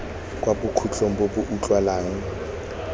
kwa bokhutlong bo bo utlwalang